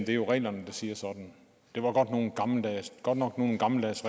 jo reglerne der siger sådan det var godt nok nogle gammeldags